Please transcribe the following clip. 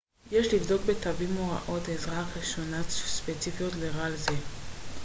יש לבדוק בתווית הוראות עזרה ראשונה ספציפיות לרעל זה